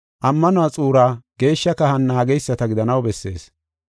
ammanuwa xuuraa geeshsha kahan naageysata gidanaw bessees.